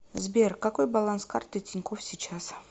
сбер какой баланс карты тинькофф сейчас